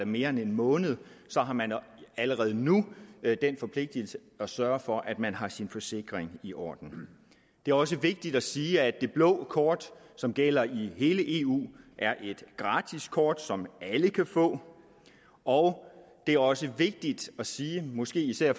mere end en måned har man allerede nu den forpligtelse at sørge for at man har sin forsikring i orden det er også vigtigt at sige at det blå kort som gælder i hele eu er et gratis kort som alle kan få og det er også vigtigt at sige måske især